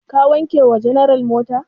Ka wanke wa general mota?